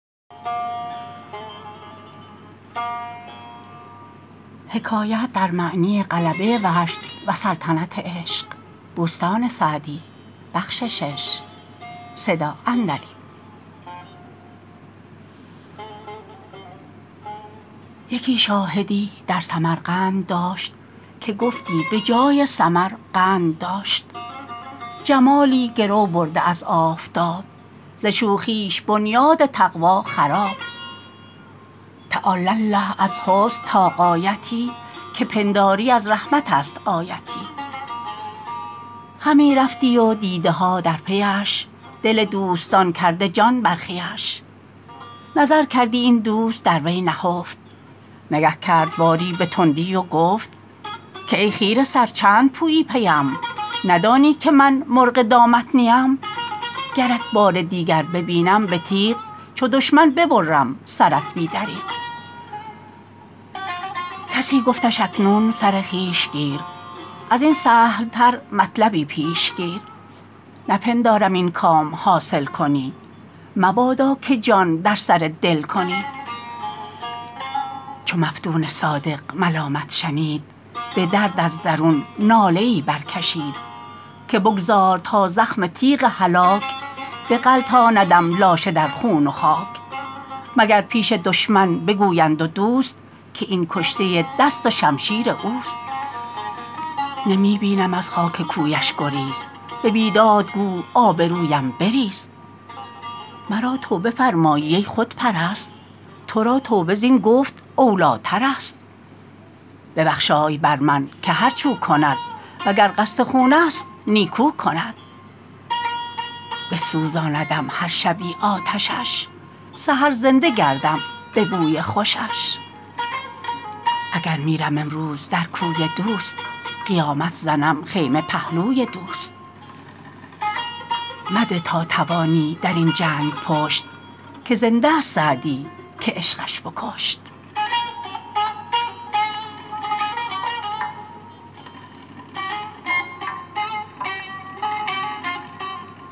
یکی شاهدی در سمرقند داشت که گفتی به جای سمر قند داشت جمالی گرو برده از آفتاب ز شوخیش بنیاد تقوی خراب تعالی الله از حسن تا غایتی که پنداری از رحمت است آیتی همی رفتی و دیده ها در پیش دل دوستان کرده جان برخیش نظر کردی این دوست در وی نهفت نگه کرد باری به تندی و گفت که ای خیره سر چند پویی پیم ندانی که من مرغ دامت نیم گرت بار دیگر ببینم به تیغ چو دشمن ببرم سرت بی دریغ کسی گفتش اکنون سر خویش گیر از این سهل تر مطلبی پیش گیر نپندارم این کام حاصل کنی مبادا که جان در سر دل کنی چو مفتون صادق ملامت شنید به درد از درون ناله ای برکشید که بگذار تا زخم تیغ هلاک بغلطاندم لاشه در خون و خاک مگر پیش دشمن بگویند و دوست که این کشته دست و شمشیر اوست نمی بینم از خاک کویش گریز به بیداد گو آبرویم بریز مرا توبه فرمایی ای خودپرست تو را توبه زین گفت اولی ترست ببخشای بر من که هرچ او کند و گر قصد خون است نیکو کند بسوزاندم هر شبی آتشش سحر زنده گردم به بوی خوشش اگر میرم امروز در کوی دوست قیامت زنم خیمه پهلوی دوست مده تا توانی در این جنگ پشت که زنده ست سعدی که عشقش بکشت